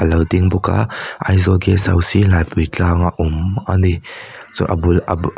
lo ding bawk a aizawl guest house hi laipuitlang a awm ani chuan a bul a bul--